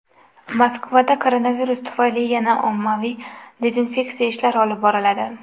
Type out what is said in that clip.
Moskvada koronavirus tufayli yana ommaviy dezinfeksiya ishlari olib boriladi.